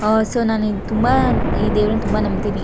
ಅಹ್ so ನಾನು ಈ ತುಂಬಾ ಈ ದೇವ್ರನ್ನ ನಂಬತೀನಿ--